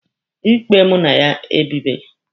Ikpe mụ na ya ebịbeghị.